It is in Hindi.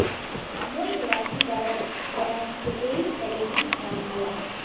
मूल निवासी गायक बहन एटेरी एलेविज़ नाम दिया है